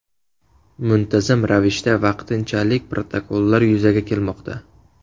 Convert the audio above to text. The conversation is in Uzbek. Muntazam ravishda vaqtinchalik protokollar yuzaga kelmoqda.